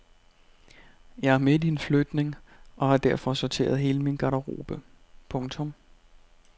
Jeg er midt i en flytning og har derfor sorteret hele min garderobe. punktum